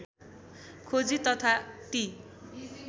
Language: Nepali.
खोजी तथा ती